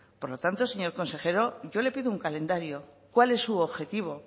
por lo tanto señor consejero yo le pido un calendario cuál es su objetivo